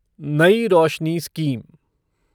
नई रोशनी स्कीम